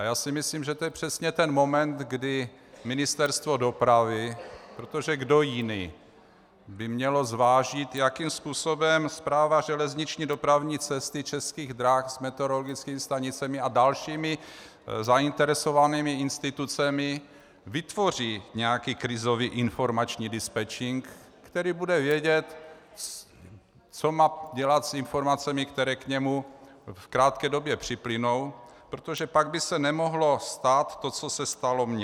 A já si myslím, že to je přesně ten moment, kdy Ministerstvo dopravy, protože kdo jiný by měl zvážit, jakým způsobem Správa železniční dopravní cesty Českých drah s meteorologickými stanicemi a dalšími zainteresovanými institucemi vytvoří nějaký krizový informační dispečink, který bude vědět, co má dělat s informacemi, které k němu v krátké době připlynou, protože pak by se nemohlo stát to, co se stalo mně.